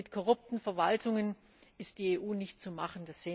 Denn mit korrupten Verwaltungen ist die EU nicht zu machen.